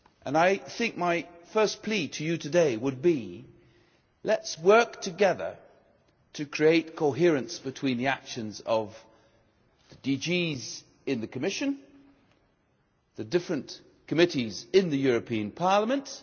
I think my first plea to you today would be, let us work together to create coherence between the actions of the DGs in the Commission, the different committees in the European Parliament.